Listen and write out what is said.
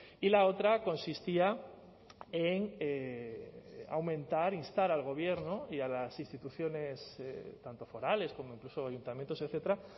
y la otra consistía en aumentar instar al gobierno y a las instituciones tanto forales como incluso ayuntamientos etcétera